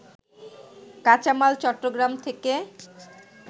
কাঁচামাল চট্টগ্রাম থেকে